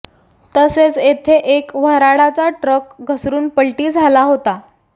तसेच येथे एक वर्हाडाचा ट्रक घसरून पलटी झाला होता